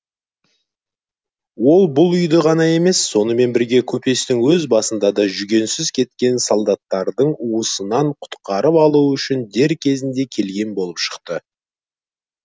ол бұл үйді ғана емес сонымен бірге көпестің өз басында да жүгенсіз кеткен солдаттардың уысынан құтқарып алу үшін дер кезінде келген болып шықты